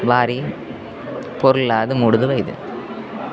ಬಾರಿ ಪೊರ್ಲಾದ್ ಮೂಡ್ದು ಬೈದ್ಂಡ್ .